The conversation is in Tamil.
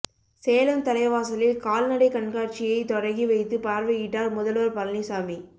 சேலம் தலைவாசலில் கால்நடை கண்காட்சியை தொடங்கி வைத்து பார்வையிட்டார் முதல்வர் பழனிசாமி